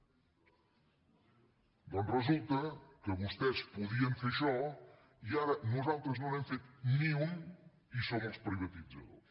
doncs resulta que vostès podien fer això i ara nosaltres no n’hem fet ni un i som els privatitzadors